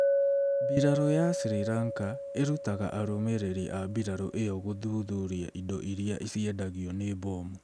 mbirarū ya Sri Lanka ĩrutaga arũmĩrĩri a mbirarū ĩyo gũthuthuria indo iria ciendagio nĩ mbomu